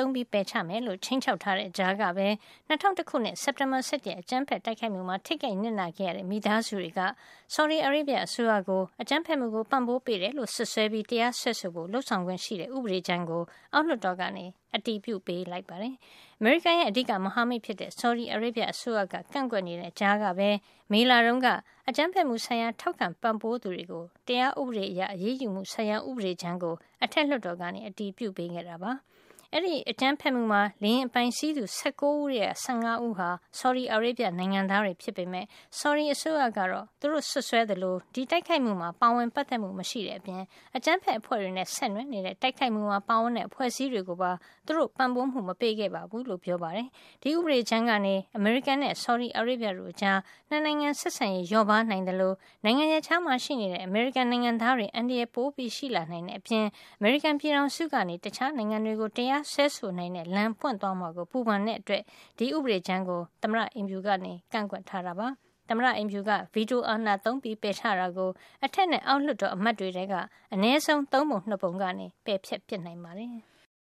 ုံး ပယ်ချမယ်လို့ ခြိမ်းခြောက်ထားတဲ့ ကြားကပဲ ၂၀၀၁ ခုနှစ် စက်တင်ဘာ ၁၁ ရက် အကြမ်းဖက် တိုက်ခိုက်မှုမှာ ထိခိုက်နစ်နာခဲ့ရတဲ့ မိသားစုတွေက ဆော်ဒီအာရေဗျ အစိုးရကို အကြမ်းဖက်မှုကို ပံ့ပိုးပေးတယ်လို့ စွပ်စွဲပြီး တရားစွဲဆိုဖို့ လုပ်ဆောင်ခွင့်ရှိတဲ့ ဥပဒေကြမ်းကို အောက်လွှတ်တော်က အတည်ပြုပေးခဲ့ပါတယ်။ အမေရိကန်ရဲ့ အဓိက မဟာမိတ်ဖြစ်တဲ့ ဆော်ဒီအာရေဗျအစိုးရက ကန့်ကွက်နေတဲ့ ကြားကပဲ မေလတုန်းက အကြမ်းဖက်မှုဆိုင်ရာ ထောက်ခံပံ့ပိုးသူတွေကို တရားဥပဒေအရ အရေးယူမှုဆိုင်ရာ ဥပဒေကြမ်းကို အထက်လွှတ်တော်က အတည်ပြုပေးခဲ့ပါတယ်။ အဲဒီအကြမ်းဖက်မှုမှာ လေယာဉ် အပိုင်စီးသူ ၁၉ ဦးထဲက ၁၅ ဦးဟာ ဆော်ဒီအာရေဗျနိုင်ငံသားတွေ ဖြစ်ပေမယ့် ဆော်ဒီအစိုးရကတော့ သူတို့ စွပ်စွဲသလို ဒီတိုက်ခိုက်မှုမှာ ပါဝင်ပါတ်သက်မှု မရှိတဲ့အပြင် အကြမ်းဖက်အဖွဲ့တွေနဲ့ ဆက်နွယ်နေတဲ့ တိုက်ခိုက်မှုမှာ ပါဝင်တဲ့ အဖွဲ့အစည်းတွေ ကိုပါ သူတို့ပံ့ပိုးမှု မပေးခဲ့ကြောင်း ပြောပါတယ်။ ဒီဥပဒေကြမ်းကနေ အမေရိကန်နဲ့ ဆော်ဒီအာရေဗျတို့ကြား ၂ နိုင်ငံ ဆက်ဆံရေးလျော့ပါးနိုင်သလို နိုင်ငံရပ်ခြားမှာ ရှိနေတဲ့ အမေရိကန် နိုင်ငံသားတွေအန္တရာယ် ရှိလာနိုင်တဲ့ အပြင် အမေရိကန်ပြည်ထောင်စုက တခြားနိုင်ငံတွေကို တရားစွဲဆိုနိုင်တဲ့ လမ်းပွင့်သွားမှာကို ပူပန်တဲ့အတွက် ဒီဥပဒေကြမ်းကို သမ္မတ အိမ်ဖြူက ကန့်ကွက်ထားတာပါ။ သမ္မတ အိမ်ဖြူက ဗီတိုအာဏာသုံးပယ်ချတာကို အထက်နဲ့ အောက်လွှတ်တော် အမတ်တွေထဲက အနည်းဆုံး သုံးပုံ နှစ်ပုံက ပယ်ဖျက် ပစ် နိုင်ပါတယ်။